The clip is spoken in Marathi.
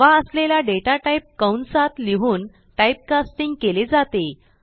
हवा असलेला डेटा टाईप कंसात लिहून Typecastingकेले जाते